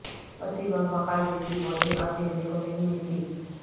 وسیم اور وقار جیسی بولنگ اب دیکھنے کو نہیں ملتی